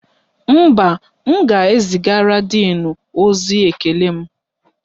Mba, m ga-ezigara díìnu ozi ekele m